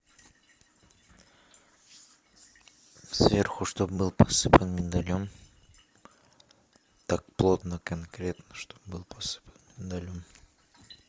сверху чтоб был посыпан миндалем так плотно конкретно чтоб был посыпан миндалем